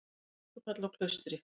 Mikið öskufall á Klaustri